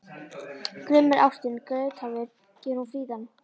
Grimm er ástin, geithafur gerir hún fríðan.